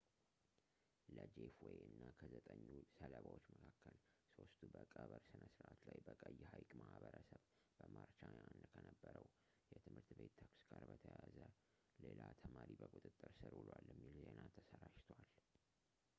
ለጄፍ ዌይ እና ከዘጠኙ ሰለባዎች መካከል ሦስቱ በቀብር ሥነ ሥርዓት ላይ በቀይ ሐይቅ ማህበረሰብ በማርች 21 ከነበረው የትምህርት ቤት ተኩስ ጋር በተያያዘ ሌላ ተማሪ በቁጥጥር ስር ውሏል የሚል ዜና ተሰራጭተዋል